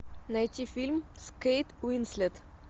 найти фильм с кейт уинслет